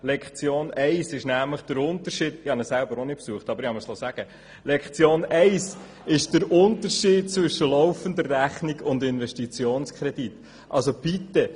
Ich habe diesen Lehrgang selber nicht besucht, habe mir aber sagen lassen, dass in der ersten Lektion der Unterschied zwischen laufender Rechnung und Investitionskrediten erklärt wird.